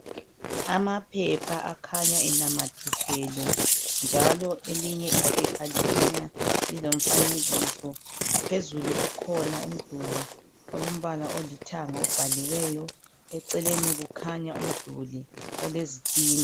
Amaphepha akhanya enamathiselwe njalo elinye iphepha likhanya lilomfanekiso. Phezulu kukhona umduli olombala olithanga obhaliweyo, eceleni kukhanya umduli olezitina.